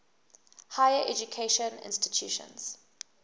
higher education institutions